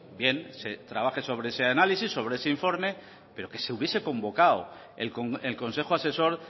bien se trabaje sobre ese análisis sobre ese informe pero que se hubiese convocado el consejo asesor